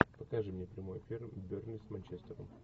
покажи мне прямой эфир бернли с манчестером